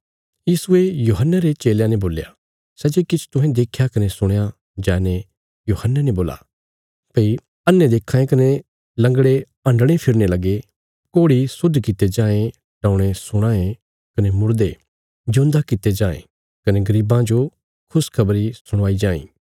यीशुये यूहन्ने रे चेलयां ने बोल्या सै जे किछ तुहें देख्या कने सुणया जाईने यूहन्ने ने बोल्ला भई अन्हे देक्खां ये कने लंगड़े हन्डणे फिरने लगे कोढ़ी शुद्ध कित्ते जायें टौणे सुणां ये कने मुड़दे जिऊंदा कित्ते जायें कने गरीबां जो खुशखबरी सुणाई जाईं